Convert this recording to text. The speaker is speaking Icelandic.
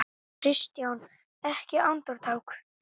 KRISTJÁN: Ekki andartak?